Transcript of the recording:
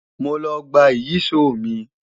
Mo lọ gba Ìyíṣòó mi